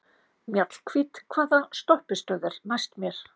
Mjallhvít, hvaða stoppistöð er næst mér?